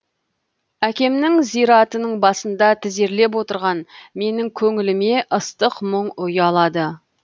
әкемнің зиратының басында тізерлеп отырған менің көңіліме ыстық мұң ұялады